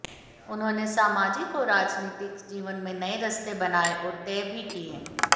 उन्होंने सामाजिक और राजनीतिक जीवन में नए रास्ते बनाए और तय भी किए